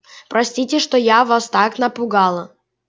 простите что я вас так напугала